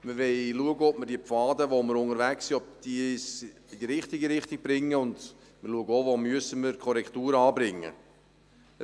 Wir wollen schauen, ob uns die Pfade, auf denen wir unterwegs sind, in die richtige Richtung bringen, und wir schauen auch, wo wir Korrekturen anbringen müssen.